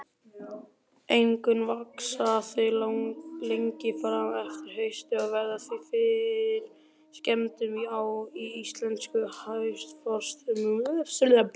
Einkum vaxa þau lengi fram eftir hausti og verða því fyrir skemmdum í íslenskum haustfrostum.